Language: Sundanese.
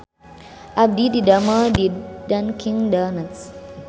Abdi didamel di Dunkin Donuts